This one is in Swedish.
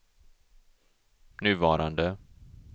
nuvarande